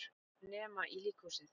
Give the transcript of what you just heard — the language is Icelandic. Nema í líkhúsið.